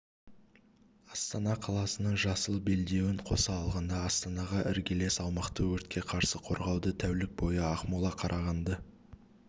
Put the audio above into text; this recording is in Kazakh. астана қаласының жасыл белдеуін қоса алғанда астанаға іргелес аумақты өртке қарсы қорғауды тәулік бойы ақмола қарағанды